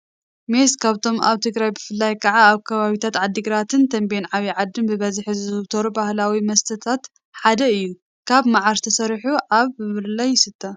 ሜሰ ካብቶም ኣብ ትግራይ ብፍላይ ካዓ ኣብ ከባብታት ዓድግራትን ተምቤን ዓብዪ ዓድን ብበዝሒ ዝዝውተሩ ባህላዌ መስተታት ሓደ እዩ ካብ መዓር ተሰሪሑ ኣብ ብብርለ ይስተ።